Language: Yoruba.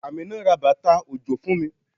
Amina ra bàtà òjò fún mi.